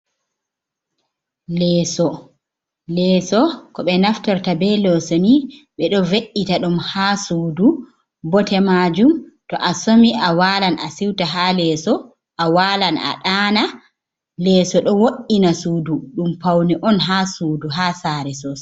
Leeso leeso ko ɓe naftorta be leeso ni ɓe ɗo ve’’ita ɗum, ha sudu bote majum to a somi a walan a siuta ha leeso, a walan a daana, leeso ɗo wo’’ina sudu ɗum paune on ha sudu ha sare sosai.